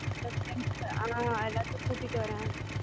உம் next time sir எல்லாதையும் கூட்டுவாறன்